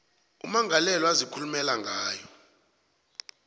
ummangalelwa azikhulumela ngayo